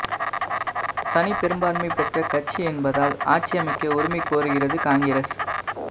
தனிப்பெரும்பான்மை பெற்ற கட்சி என்பதால் ஆட்சி அமைக்க உரிமை கோருகிறது காங்கிரஸ்